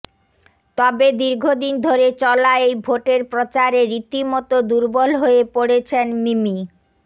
তবে দীর্ঘদিন ধরে চলা এই ভোটের প্রচারে রীতিমতো দুর্বল হয়ে পড়েছেন মিমি